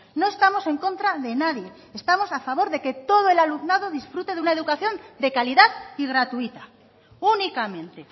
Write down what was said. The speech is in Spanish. no estamos en contra de nadie estamos a favor de que todo el alumnado disfrute de una educación de calidad y gratuita únicamente